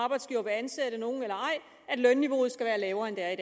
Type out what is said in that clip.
arbejdsgivere vil ansætte nogen eller ej at lønniveauet skal være lavere end det er i